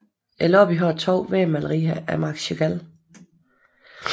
Lobbyen har to vægmalerier af Marc Chagall